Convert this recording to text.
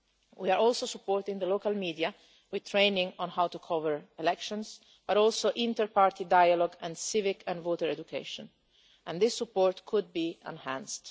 We are also supporting the local media with training on how to cover elections, and also inter party dialogue and civic and voter education, and this support could be enhanced.